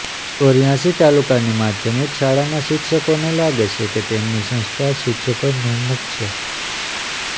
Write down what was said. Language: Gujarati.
ચોર્યાસી તાલુકાની માધ્યમિક શાળાના શિક્ષકોને લાગે છે કે તેમની સંસ્થા શિક્ષકોન્મુખ છે